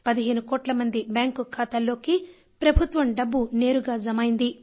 15 కోట్ల మంది బ్యాంకు ఖాతాల్లోకి ప్రభుత్వం డబ్బు నేరుగా జమ అయింది